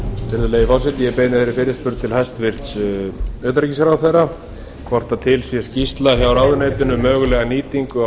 virðulegi forseti ég beini þeirri fyrirspurn til hæstvirts utanríkisráðherra fyrsta er til skýrsla hjá ráðuneytinu um mögulega nýtingu varnarsvæðisins